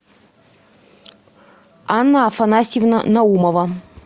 анна афанасьевна наумова